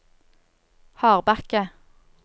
Hardbakke